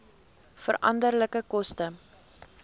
veranderlike koste